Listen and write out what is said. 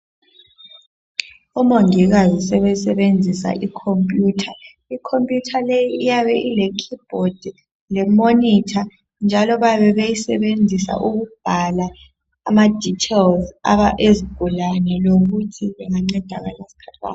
Omongikazi sebesebenzisa ikhomputha ikhomputha le iyabe ile khibhothi lemonitha njalo bayebebeyisebenzisa ukubhala ama dithelizi ezigulalene lokuthi bengancedakala sikhathi bani